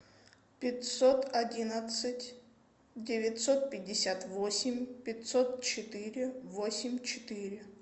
пятьсот одиннадцать девятьсот пятьдесят восемь пятьсот четыре восемь четыре